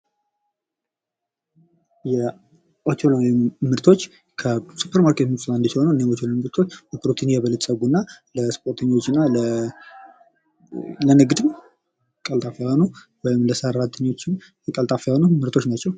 የኦቾሎኒ ምርቶች ከሱፐር ማርኬት ምርቶች አንዱ ሲሆን ይህ የኦቾሎኒ ምርቶች በፕሮቲን የበለፀጉ እና ለስፖርተኞች ና ለንግድም ቀልጣፋ ነው። ለሰራተኞቹም ቀልጣፋ የሆኑ ምርቶች ናቸው።